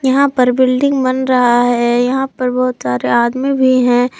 यहां पर बिल्डिंग बन रहा है यहां पर बहुत सारे आदमी भी हैं।